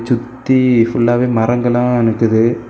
சுத்தி புல்லாவே மரங்களா நிக்குது.